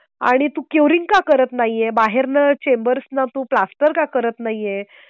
आणि तू क्युरिंग का करत नाहीये. बाहेरन चेंबर्सना तू प्लास्टर का करत नाहीये